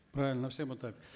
правильно все бы так